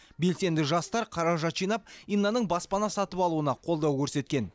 белсенді жастар қаражат жинап иннаның баспана сатып алуына қолдау көрсеткен